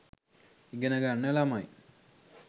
ඉගෙන ගන්න ළමයි